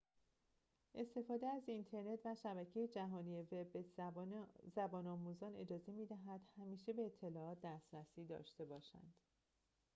استفاده از اینترنت و شبکه جهانی وب به زبان‌آموزان اجازه می‌دهد همیشه به اطلاعات دسترسی داشته باشند